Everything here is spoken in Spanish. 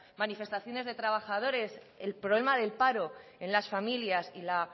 manifestaciones de trabajadores el problema del paro en las familias y la